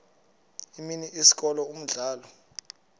imini isikolo umdlalo